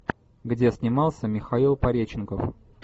где снимался михаил пореченков